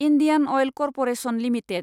Indian Oil Corporation limited